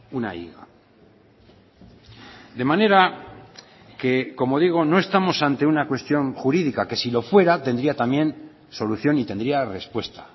una higa de manera que como digo no estamos ante una cuestión jurídica que si lo fuera tendría también solución y tendría respuesta